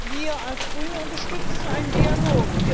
Wir als Grüne unterstützen einen Dialog.